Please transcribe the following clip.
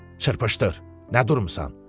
Çırpışdır, nə durmusan?